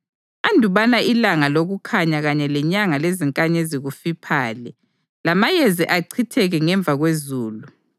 andubana ilanga lokukhanya kanye lenyanga lezinkanyezi kufiphale, lamayezi achitheke ngemva kwezulu;